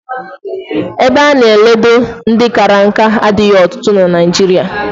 Ebe a na-eledo ndị kara nka adịghị ọtụtụ na Naịjirịa